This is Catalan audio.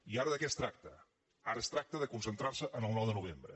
i ara de què es tracta ara es tracta de concentrar se en el nou de novembre